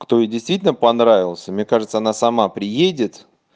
кто ей действительно понравился мне кажется она сама приедет